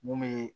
Mun bɛ